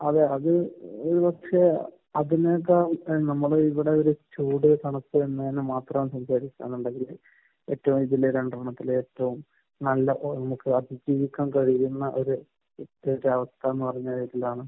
അതെ. അത് ഒരു പക്ഷെ അതിൽ നിന്നൊക്കെ നമ്മൾ ഇവിടെയൊരു ചൂട്, തണുപ്പ്, മാത്രം ഞാൻ കണ്ടതിൽ ഏറ്റവും കൂടുതൽ രണ്ടെണ്ണത്തിൽ ഏറ്റവും നല്ല ഒരു അവസ്ഥയെന്ന് പറഞ്ഞാൽ